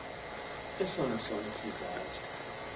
esona sona sizathu